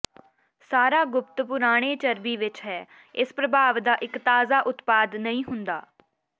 ਸਾਰਾ ਗੁਪਤ ਪੁਰਾਣੇ ਚਰਬੀ ਵਿੱਚ ਹੈ ਇਸ ਪ੍ਰਭਾਵ ਦਾ ਇੱਕ ਤਾਜ਼ਾ ਉਤਪਾਦ ਨਹੀਂ ਹੁੰਦਾ